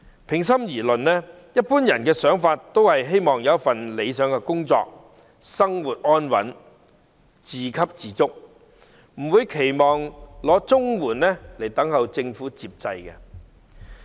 平心而論，一般人都想有理想工作，生活安穩，自給自足，不會期望領取綜援，靠政府接濟。